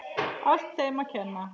Allt þeim að kenna.!